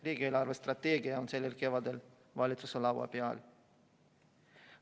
Riigi eelarvestrateegia on sellel kevadel valitsuse laua peal.